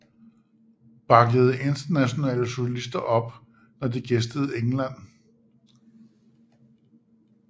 Backede internationale solister op når de gæstede England